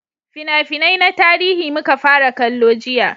fina-finai na tarihi muka fara kallo jiya